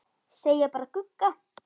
Segja bara Gugga.